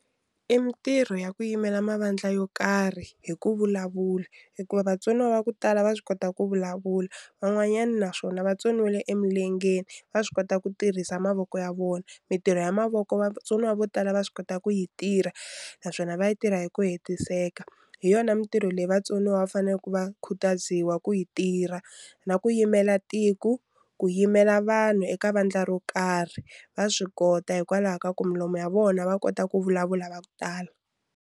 I mintirho ya ku yimela mavandla yo karhi hi ku vulavula hikuva vatsoniwa va ku tala va swi kota ku vulavula van'wanyana naswona va tsoniwile emilengeni va swi kota ku tirhisa mavoko ya vona mintirho ya mavoko vatsoniwa vo tala va swi kota ku yi tirha naswona va yi tirha hi ku hetiseka hi yona mintirho leyi vatsoniwa va faneleku va khutaziwa ku yi tirha na ku yimela tiko ku yimela vanhu eka vandla ro karhi va swi kota hikwalaho ka ku milomu ya vona va kota ku vulavula va ku tala.